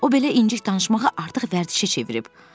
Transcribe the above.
O belə incik danışmağa artıq vərdişə çevirib.